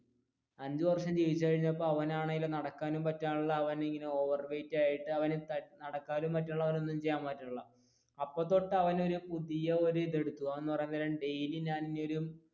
അഞ്ചു വര്ഷം ജീവിച്ചു കഴിഞ്ഞിട്ട് അവനാണെങ്കിൽ നടക്കാനും പറ്റുന്നില്ല അവൻ ഇങ്ങനെ overweight ആയിട്ട് അവൻ നടക്കാനും പറ്റുന്നില്ല ഒന്നും ചെയ്യാനും പറ്റുന്നില്ല അപ്പൊ തൊട്ട് അവനൊരു പുതിയ ഒരു ഇതെടുത്തു എന്ന് പറയാൻ നേരം daily ഞാൻ ഒരു